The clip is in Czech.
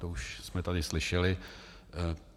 To už jsme tady slyšeli.